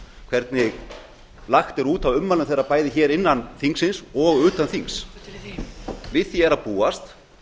hvernig lagt er út af ummælum þeirra bæði innan þingsins og utan þings við því er að búast